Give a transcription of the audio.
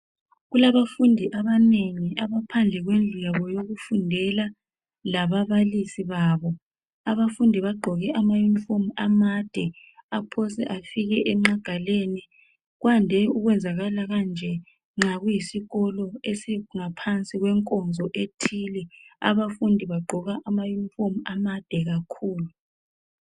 Kulabafundi abanengi abaphandle kwendlu yabo yokufundela lababalisi babo, abafundi bagqoke amayunifomu amade, aphose afike egqagaleni, kwande ukwenzakala kanje nxa kuyisikolo esingaphansi kwenkonzo ethile, abafundi bagqoka ama yunifomu amade kakhulu.